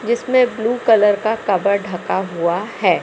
जिसमें blue colour का cover ढका हुआ है।